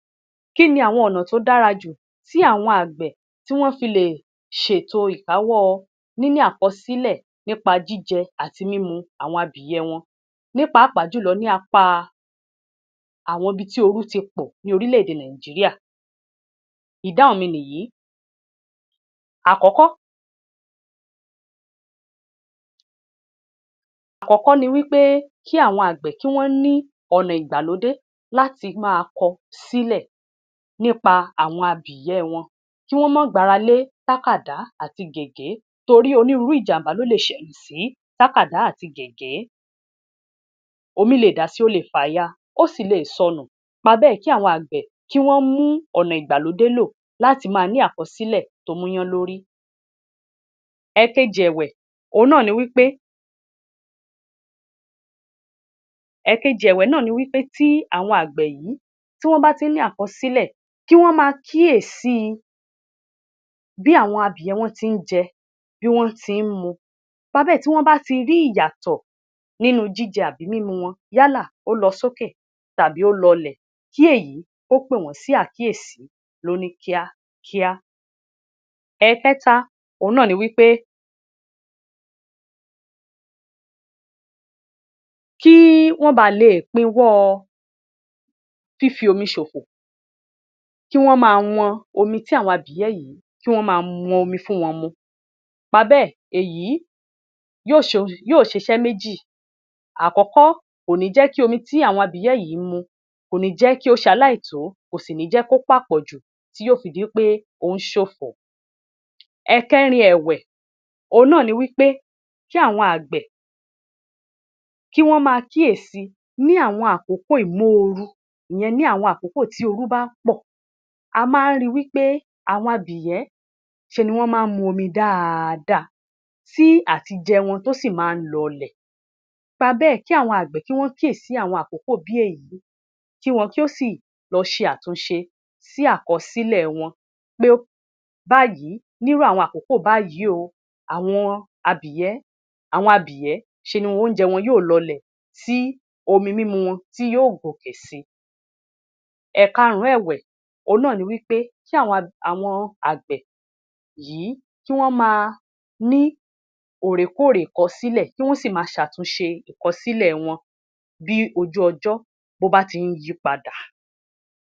Kíni àwọn ọ̀nà tó dára jù tí àwọn àgbẹ̀, tí wọ́n fi lè ṣètò ìkáwọ́ọ níní àkọsílẹ̀ nípa jíjẹ àti mímu àwọn abìyẹ́ wọn, ní pàápàá jùlọ ní apáa àwọn ibi tí orú ti pọ̀ ní orílèdè Nàìjíríà? ìdáhùn mi nìyìí. Àkọ́kọ́, àkọ́kọ́ ni wí pé kí àwọn àgbẹ̀, kí wọ́n ní ọ̀nà ìgbàlódé, láti máa kọ sílẹ̀ nípa àwọn abìyẹ́ wọn, kí wọ́n má gbáralé tákàdá àti gègé torí onírúurú ìjàmbá ló lè ṣẹlẹ̀ sí tákàdá àti gègé. Omí lè dàsi, ó le fàya, ó sì lè sọnù, nípa bẹ́ẹ̀ kí àwọn àgbẹ kí wọ́n mú ọ̀nà ìgbàlódé lò láti máa ní àkọsílẹ̀ tó múyánlórì. Ẹ̀ẹ̀kejì ẹ̀wẹ̀, òhun náà ni wí pé ẹ̀ẹ̀kejì ẹ̀wẹ̀ náà ni wí pé tí àwọn àgbẹ̀ yìí, tí wọ́n bá ti ní àkọsílẹ̀, kí wọ́n máa kíyèsí i bí àwọn abìyẹ́ wọ́n ti ń jẹ, bí wọ́n ti ń mu. nípa bẹ́ẹ̀ tí wọ́n bá ti rí ìyàtọ̀ nínú jíjẹ àbí mímu wọn, yálà ó lọ sókè tàbí ó lọlẹ̀, kí èyí kó pè wọ́n sí àkíyèsí lóní kíákíá. Ẹ̀ẹ̀kẹ́ta òhun náà ni wí pé kí wọ́n ba leè pinwọ́ọ fífi omi ṣòfò, kí wọ́n máa wọn omi tí àwọn abìyẹ́ yìí, kí wọ́n máa wọn omi fún wọn mu. nípa bẹ́ẹ̀, èyí yóò ṣohun, yóò ṣiṣẹ́ méjì, akọ́kọ́, kò ní jẹ́ kí omi tí àwọn abìyẹ́ yìí ń mu, kó ní jẹ́ kí ó ṣaláìtó kò sì ní jẹ́ kó pàpọ̀jù tí yó fi dí pé ó ń ṣòfò. Ẹ̀ẹ̀kẹ́rin ẹ̀wẹ̀, òhun náà ni wí pé kí àwọn àgbẹ̀, kí wọ́n máa kíyèsi ní àwọn àkókò ìmóoru, ìyẹn ní àwọn àkókò tí orú bá pọ̀, a máa ń ri wí pé àwọn abìyẹ́, ṣe ni wọ́n máa ń mu omi dáada tí àtijẹ wọn tó sì máa n lọlẹ̀, nípa bẹ́ẹ̀ kí àwọn àgbẹ̀ kí wọ́n kíyèsí àwọn àkokò bí èyí, kí wọn kí ó sì lọ ṣe àtúnṣe sí àkọsílẹ̀ wọn. Pé báyìí, nírú àwọn àkókò báyìí o, àwọn abìyẹ́, àwọn abìyẹ́, ṣe ni oúnjẹ wọn yóò lọlẹ̀ tí omi mímu wọn tí yóò gòkè si. Ẹ̀ẹ̀kárùn-ún ẹ̀wẹ̀, òhun náà ni wí pé kí àwọn, àwọn àgbẹ̀ yìí kí wọ́n máa ní òòrèkóòrè ìkọsílẹ̀ kí wọ́n sì máa ṣàtúnse ìkọsílẹ̀ wọn bí ojú ọjọ́ bó bá ti ń yípadà.